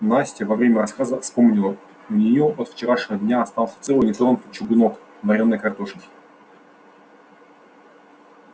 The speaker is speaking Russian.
настя во время рассказа вспомнила у неё от вчерашнего дня остался целый нетронутый чугунок вареной картошки